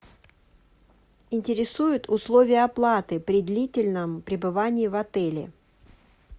интересуют условия оплаты при длительном пребывании в отеле